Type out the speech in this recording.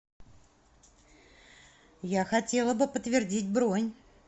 я хотела бы подтвердить бронь